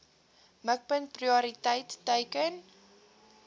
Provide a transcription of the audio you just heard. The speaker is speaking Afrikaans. mikpunt prioriteit teiken